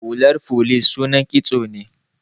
Hular folice sunan kitso ne.